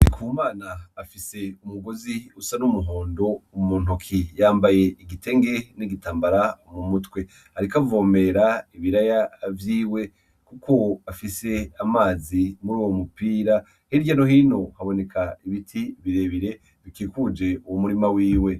Ku mana afise umugozi usa n'umuhondo mu muntoki yambaye igitenge n'igitambara mu mutwe, ariko avomera ibiraya vyiwe, kuko afise amazi muri uwo mupira herya lohino haboneka ibiti birebire bikikuje uwu murima wiwe.